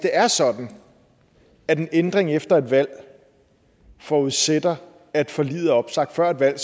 er sådan at en ændring efter et valg forudsætter at forliget er opsagt før et valg